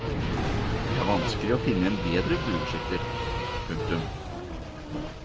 Det er vanskelig å finne en bedre bueskytter. punktum